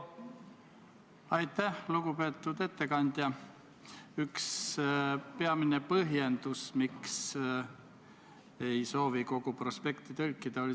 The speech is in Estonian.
Need pügalad lükatakse edasi ja seda teenust viie aasta jooksul ei teki.